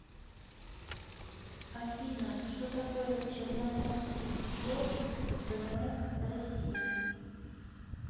афина что такое черноморский флот вмф россии